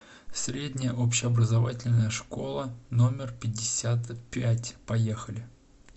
средняя общеобразовательная школа номер пятьдесят пять поехали